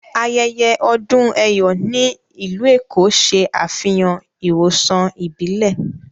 Ayẹyẹ odún Eyò ni ilù Ékó ṣẹ afihàn ìwosàn ìbílẹ̀.